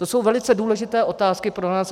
To jsou velice důležité otázky pro nás.